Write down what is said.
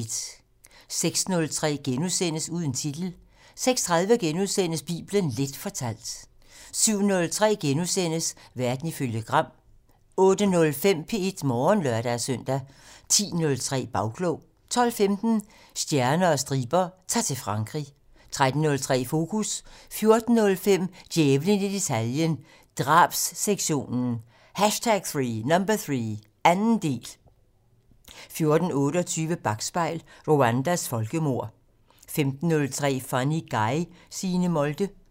06:03: Uden titel * 06:30: Bibelen Leth fortalt * 07:03: Verden ifølge Gram * 08:05: P1 Morgen (lør-søn) 10:03: Bagklog 12:15: Stjerner og striber - Ta'r til Frankrig 13:03: Fokus 14:05: Djævlen i detaljen - Drabssektionen #3 - anden del 14:28: Bakspejl: Rwandas folkemord 15:03: Funny Guy: Signe Molde